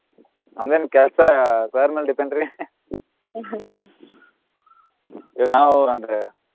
ನಮ್ದೆನ ಕೆಲ್ಸ sir ಮೇಲ್ depend ರೀ ಈಗ ನಾವು ಅಂದ್ರೆ.